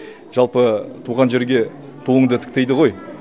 жалпы туған жерге туынды тік дейді ғой